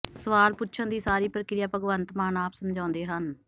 ਸਵਾਲ ਪੁੱਛਣ ਦੀ ਸਾਰੀ ਪ੍ਰੀਕਿਆ ਭਗਵੰਤ ਮਾਨ ਆਪ ਸਮਝਾਉਂਦੇ ਹਨ